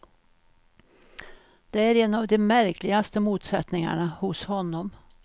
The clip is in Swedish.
Det är en av de märkligaste motsättningarna hos honom.